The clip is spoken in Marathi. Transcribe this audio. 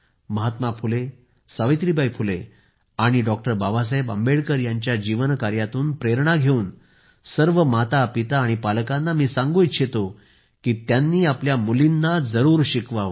महात्मा फुले सावित्रीबाई फुले बाबासाहेब आंबेडकर यांच्या जीवनकार्यातून प्रेरणा घेवून सर्व मातापिता आणि पालकांना सांगू इच्छितो की त्यांनी आपल्या मुलींना जरूर शिकवावे